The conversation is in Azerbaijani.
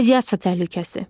Radiasiya təhlükəsi.